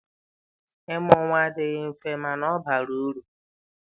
Ịmụ nwa adịghị mfe mana ọ bara uru.